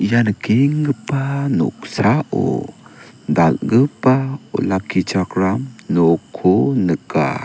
ia nikengipa noksao dalgipa olakkichakram nokko nika.